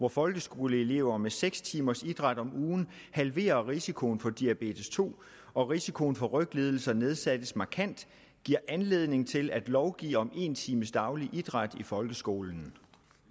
hvor folkeskoleelever med seks timers idræt om ugen halverer risikoen for diabetes to og risikoen for ryglidelser nedsættes markant giver anledning til at lovgive om en times daglig idræt i folkeskolen